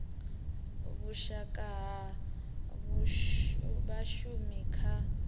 wa vhushaka ha vhashumi kha